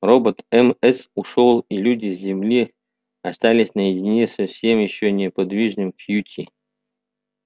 робот мс ушёл и люди с земли остались наедине со все ещё неподвижным кьюти